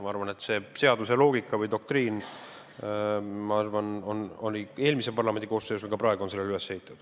Ma arvan, et seaduse loogika või doktriin oli parlamendi eelmise koosseisu ajal ja on ka praegu sellele üles ehitatud.